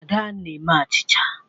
Ada na-eme achicha.